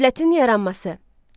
Dövlətin yaranması.